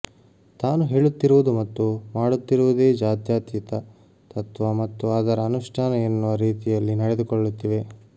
ತಾನು ಹೇಳುತ್ತಿರುವುದು ಮತ್ತು ಮಾಡುತ್ತಿರುವುದೇ ಜಾತ್ಯತೀತ ತತ್ವ ಮತ್ತು ಅದರ ಅನುಷ್ಠಾನ ಎನ್ನುವ ರೀತಿಯಲ್ಲಿ ನಡೆದುಕೊಳ್ಳುತ್ತಿವೆ